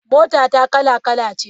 Motata kala kala ce.